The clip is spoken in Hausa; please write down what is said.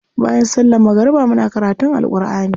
Bayan sallar magariba muna karutun Alkur'ani.